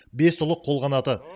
бес ұлы қолқанаты